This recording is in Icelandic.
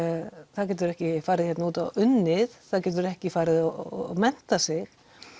það getur ekki farið hérna út og unnið það getur ekki farið og menntað sig